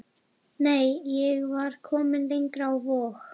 Nei, ég var komin lengra, á Vog.